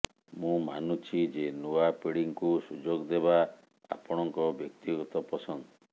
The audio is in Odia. ମୁଁ ମାନୁଛି ଯେ ନୂଆ ପିଢ଼ିଙ୍କୁ ସୁଯୋଗ ଦେବା ଆପଣଙ୍କ ବ୍ୟକ୍ତିଗତ ପସନ୍ଦ